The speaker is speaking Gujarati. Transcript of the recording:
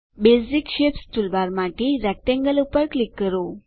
બેસિક શેપ્સ ટૂલબારમાંથી રેક્ટેંગલ પર ક્લિક કરો